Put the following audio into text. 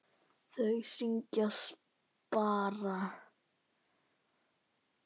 Þau syngja: SPARA!